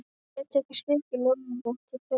Ég get ekki svikið loforð mitt til þeirra.